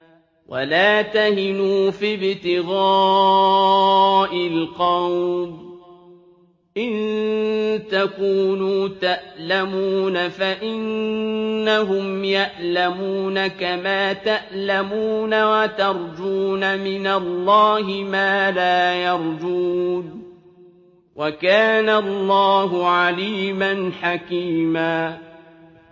وَلَا تَهِنُوا فِي ابْتِغَاءِ الْقَوْمِ ۖ إِن تَكُونُوا تَأْلَمُونَ فَإِنَّهُمْ يَأْلَمُونَ كَمَا تَأْلَمُونَ ۖ وَتَرْجُونَ مِنَ اللَّهِ مَا لَا يَرْجُونَ ۗ وَكَانَ اللَّهُ عَلِيمًا حَكِيمًا